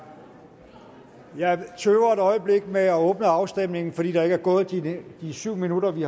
jeg tøver et øjeblik med at åbne afstemningen fordi der ikke er gået de syv minutter vi